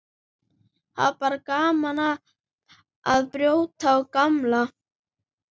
Hafa bara gaman af að brjóta og bramla.